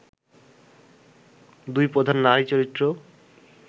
এই দুই প্রধান নারীচরিত্র